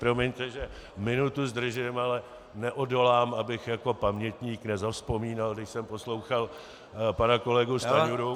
Promiňte, že minutu zdržím, ale neodolám, abych jako pamětník nezavzpomínal, když jsem poslouchal pana kolegu Stanjuru -